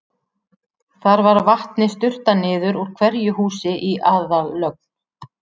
Þar var vatni sturtað niður úr hverju húsi í aðallögn.